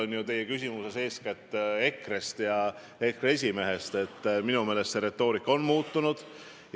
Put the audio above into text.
Ma ütlesin ka eilses Päevalehe intervjuus välja, et minu meelest see retoorika on muutunud.